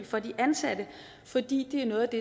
for de ansatte fordi det er noget af det